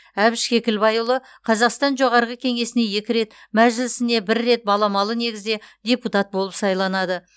әбіш кекілбайұлы қазақстан жоғарғы кеңесіне екі рет мәжілісіне бір рет баламалы негізде депутат болып сайланады